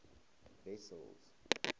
wessels